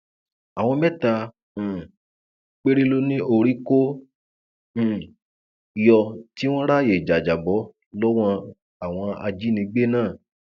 àwọn mẹta um péré ló ní orí kò um yọ tí wọn ráàyè jájábọ lọwọ àwọn ajínigbé náà